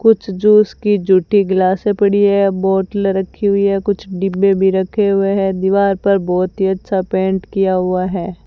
कुछ जूस की जूठी गिलासे पड़ी है बोतले रखी हुई हैं कुछ डिब्बे भी रखे हुए हैं दीवार पर बहोत ही अच्छा पेंट किया हुआ है।